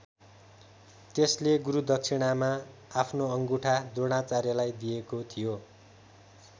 त्यसले गुरुदक्षिणामा आफ्नो अङ्गुठा द्रोणाचार्यलाई दिएको थियो।